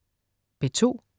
P2: